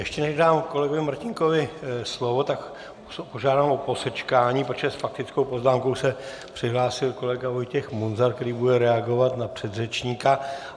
Ještě než dám kolegovi Martínkovi slovo, tak požádám o posečkání, protože s faktickou poznámkou se přihlásil kolega Vojtěch Munzar, který bude reagovat na předřečníka.